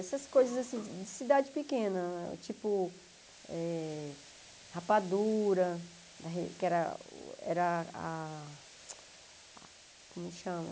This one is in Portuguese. Essas coisas assim, de cidade pequena, tipo eh rapadura, que era que era a, como que chama?